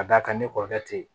Ka d'a kan ne kɔrɔkɛ te yen